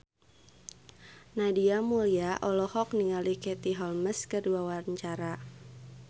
Nadia Mulya olohok ningali Katie Holmes keur diwawancara